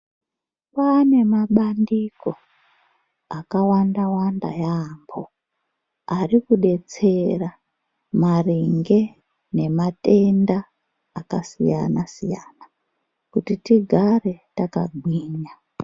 Kwaane mabandiko akawanda-wanda yaamho arikudetsera maringe nematenda akasiyana-siyana kuti tigare takagwinya.